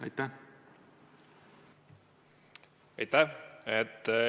Aitäh!